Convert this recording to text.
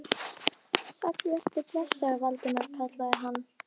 Sæll vertu og blessaður, Valdimar kallaði hann.